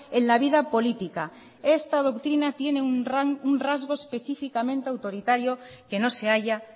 en la vida política esta doctrina tiene un rasgo específicamente autoritario que no se halla